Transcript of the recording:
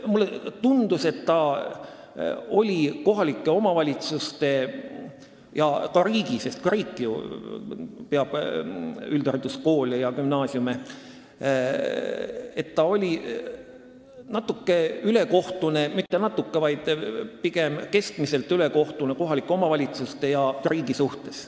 Mulle tundus, et see oli kohalike omavalitsuste ja riigi vastu – ka riik ju peab üldhariduskoole ja gümnaasiume – natuke ülekohtune, isegi mitte natuke, vaid pigem keskmiselt ülekohtune kohalike omavalitsuste ja riigi vastu.